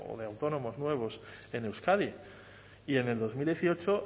de o de autónomos nuevos en euskadi y en el dos mil dieciocho